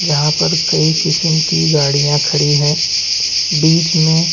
जहाँ पर कई किसम की गाड़ियां खड़ी है बिच मे--